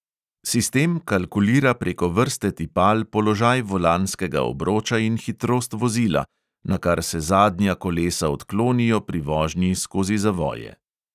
Sistem kalkulira preko vrste tipal položaj volanskega obroča in hitrost vozila, nakar se zadnja kolesa odklonijo pri vožnji skozi zavoje.